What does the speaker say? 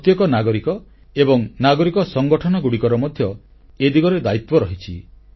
ପ୍ରତ୍ୟେକ ନାଗରିକ ଏବଂ ନାଗରିକ ସଂଗଠନଗୁଡ଼ିକର ମଧ୍ୟ ଏ ଦିଗରେ ଦାୟିତ୍ୱ ରହିଛି